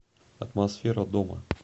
атмосфера дома